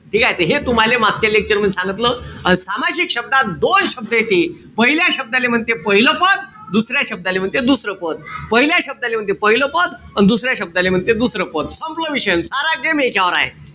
ठीकेय? त हे तुम्हाले मागच्या lecture मधी सांगितलं. अन सामासिक शब्दात दोन शब्द येते. पहिल्या शब्दाला म्हणते पाहिलं पद. दुसऱ्या शब्दाला म्हणते दुसरं पद. पहिल्या शब्दाले म्हणते पाहिलं पद. या दुसऱ्या शब्दाला म्हणते दुसरं पद. संपला विषय. सारा game ह्याच्यावर हाये.